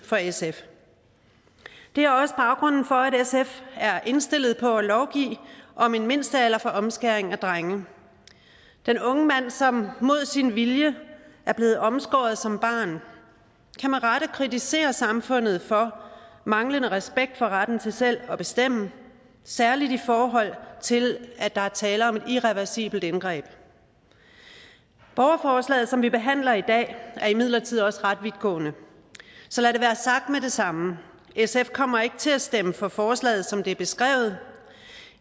for sf det er også baggrunden for at sf er indstillet på at lovgive om en mindstealder for omskæring af drenge den unge mand som mod sin vilje er blevet omskåret som barn kan med rette kritisere samfundet for manglende respekt for retten til selv at bestemme særligt i forhold til at der er tale om et irreversibelt indgreb borgerforslaget som vi behandler i dag er imidlertid også ret vidtgående så lad det være sagt med det samme sf kommer ikke til at stemme for forslaget som det er beskrevet